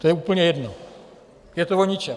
To je úplně jedno, je to o ničem.